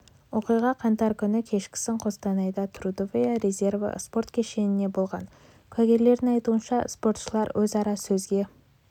оқиға қаңтар күні кешкісін қостанайда трудовые резервы спорт кешенінде болған куәгерлердің айтуынша спортшылар өзара сөзге